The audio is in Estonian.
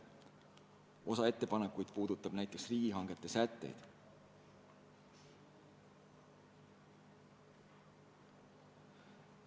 Osa ettepanekuid puudutab näiteks riigihankeid käsitlevaid sätteid.